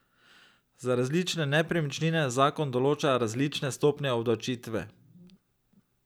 Za različne nepremičnine zakon določa različne stopnje obdavčitve.